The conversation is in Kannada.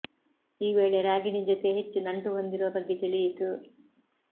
ಈ ವೇಳೆ ರಾಗಿಣಿ ಜೊತೆ ಹೆಚ್ಚು ನಂಟು ಹೊಂದಿರುವ ಬಗ್ಗೆ ತಿಳಿಯಿತು